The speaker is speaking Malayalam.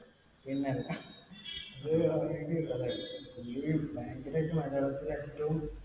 പിന്നല്ല! ഭയങ്കരായിട്ട് മലയാളത്തില്‍ ഏറ്റവും